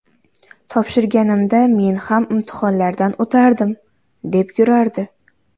Topshirganimda men ham imtihonlardan o‘tardim, deb yurardi.